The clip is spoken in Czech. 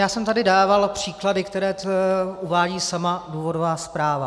Já jsem tady dával příklady, které uvádí sama důvodová zpráva.